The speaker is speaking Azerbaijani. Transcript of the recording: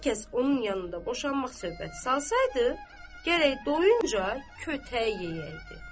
Hər kəs onun yanında boşanmaq söhbəti salsaydı, gərək doyuncq kötək yeyəydi.